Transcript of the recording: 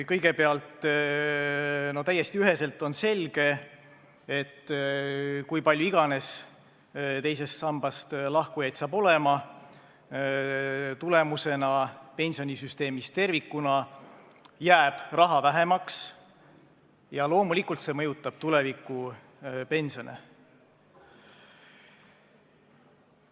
Kõigepealt: täiesti üheselt on selge, et kui palju teisest sambast lahkujaid ka pole, tervikuna pensionisüsteemis jääb raha vähemaks ja loomulikult see mõjutab tulevikupensione.